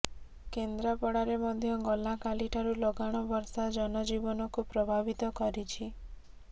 କେନ୍ଦ୍ରାପଡ଼ାରେ ମଧ୍ୟ ଗଲା କାଲି ଠାରୁ ଲଗାଣ ବର୍ଷା ଜନଜୀବନକୁ ପ୍ରଭାବିତ କରିଛି